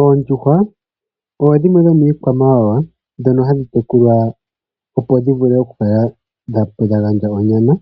Oondjuhwa odho dhimwe dho miikwamawawa dhoka hadhi tekulwa opo dhi vule oku kala dha gandja onyama